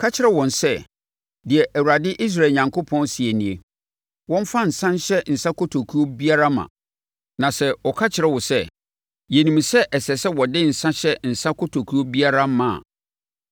“Ka kyerɛ wɔn sɛ, ‘Deɛ Awurade, Israel Onyankopɔn seɛ nie, Wɔmfa nsã nhyɛ nsã kotokuo biara ma.’ Na sɛ wɔka kyerɛ wo sɛ, ‘Yɛnim sɛ ɛsɛ sɛ wɔde nsã hyɛ nsã kotokuo biara ma a,’